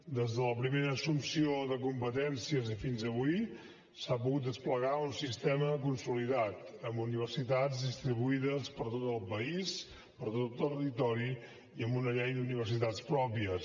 des de la primera assumpció de competències fins avui s’ha pogut desplegar un sistema consolidat amb universitats distribuïdes per tot el país per tot el territori i amb una llei d’universitats pròpia